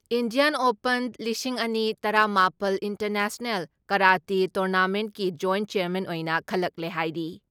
Indian open ꯂꯤꯁꯤꯡ ꯑꯅꯤ ꯇꯔꯥ ꯃꯥꯄꯜ ꯏꯟꯇꯔꯅꯦꯁꯅꯦꯜ ꯀꯔꯥꯇꯤ ꯇꯨꯔꯅꯥꯃꯦꯟꯒꯤ ꯖꯣꯏꯟ ꯆꯦꯌꯥꯔꯃꯦꯟ ꯑꯣꯏꯅ ꯈꯜꯂꯛꯂꯦ ꯍꯥꯏꯔꯤ ꯫